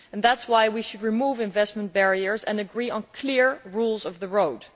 That is why we should remove investment barriers and agree on clear rules of the road.